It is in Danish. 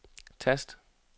tast